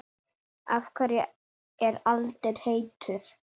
Af hverju er eldur heitur?